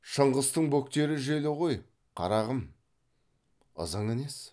шыңғыстың бөктері желі ғой қарағым ызыңы несі